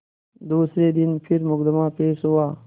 दूसरे दिन फिर मुकदमा पेश हुआ